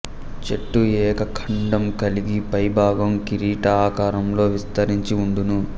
చెట్టు ఏకకాండం కల్గి పై భాగం కీరిట ఆకారంలో విస్తరించి వుండును